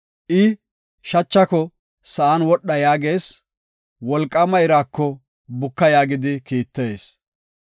I shachako, ‘Sa7an wodha’ yaagees; wolqaama iraako, ‘Buka’ yaagidi kiittees.